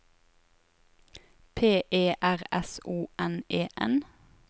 P E R S O N E N